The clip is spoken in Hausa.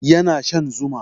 Yana shan zuma